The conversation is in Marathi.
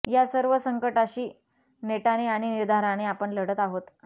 या सर्व संकटाशी नेटाने आणि निर्धाराने आपण लढत आहोत